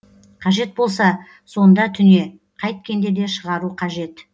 қажет болса сонда түне қайткенде де шығару қажет